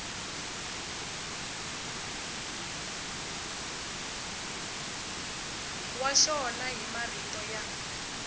wa xona hi marito ya